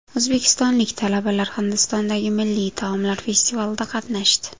O‘zbekistonlik talabalar Hindistondagi milliy taomlar festivalida qatnashdi.